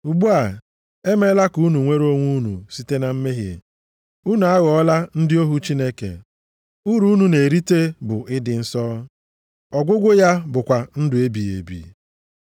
Ugbu a, e meela ka unu nwere onwe unu site na mmehie. Unu aghọọla ndị ohu Chineke. Uru unu na-erita bụ ịdị nsọ, ọgwụgwụ ya bụkwa ndụ ebighị ebi.